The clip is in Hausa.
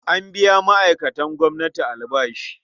An biya ma'aikatan gwamnati albashi.